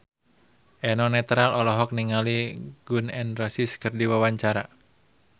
Eno Netral olohok ningali Gun N Roses keur diwawancara